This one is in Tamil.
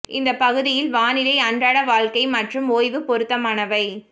இந்த பகுதியில் வானிலை அன்றாட வாழ்க்கை மற்றும் ஓய்வு பொருத்தமானவை